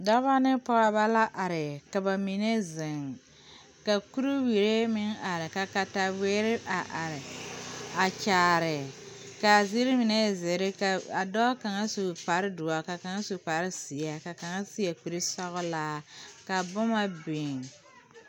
Dɔba ne pɔgeba la are ka ba mine ziŋ ka kurewie meŋ are ka kataweɛ meŋ a are a kyaare kaa zeere mine e zēēre kaa dɔɔ kaŋa su kpare doɔre ka kaŋ su kpare zeɛ ka kaŋa seɛ kure sɔglaa ka boma biŋe.